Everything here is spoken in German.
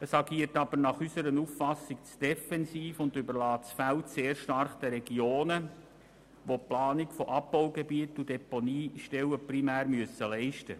Es agiert aber nach unserer Auffassung zu defensiv und überlässt das Feld sehr stark den Regionen, welche primär die Planung von Abbaugebieten und Deponiestellen leisten müssen.